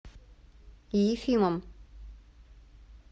ефимом